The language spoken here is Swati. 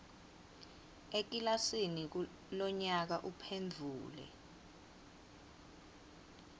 ekilasini lonyaka uphendvule